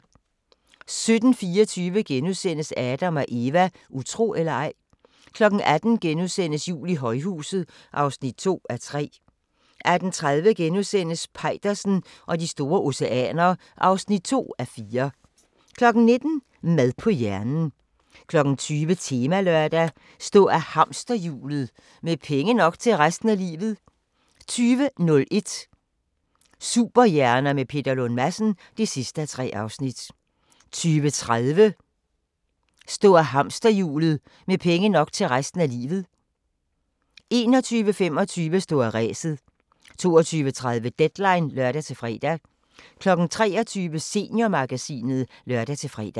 17:24: Adam & Eva: Utro eller ej? * 18:00: Jul i højhuset (2:3)* 18:30: Peitersen og de store oceaner (2:4)* 19:00: Mad på hjernen 20:00: Temalørdag: Stå af hamsterhjulet – med penge nok til resten af livet 20:01: Superhjerner med Peter Lund Madsen (3:3) 20:30: Stå af hamsterhjulet – med penge nok til resten af livet 21:25: Stå af ræset 22:30: Deadline (lør-fre) 23:00: Seniormagasinet (lør-fre)